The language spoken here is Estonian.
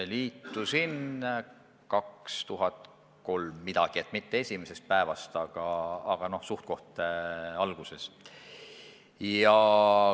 Liitusin 2003. aasta paiku, st mitte kohe esimesel päeval, aga suhteliselt alguses.